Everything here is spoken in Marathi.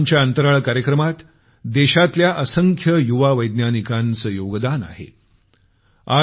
आमच्या अंतराळ कार्यक्रमात देशातल्या असंख्य युवा वैज्ञानिकांचं योगदान आहे